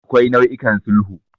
Akwai nau'ikan sulhu.